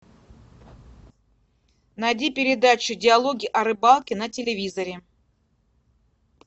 найди передачу диалоги о рыбалке на телевизоре